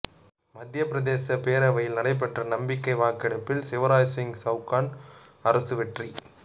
மத்தியப்பிரதேச பேரவையில் நடைபெற்ற நம்பிக்கை வாக்கெடுப்பில் சிவராஜ்சிங் சவுகான் அரசு வெற்றி